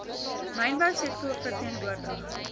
mynbou sektor verteenwoordig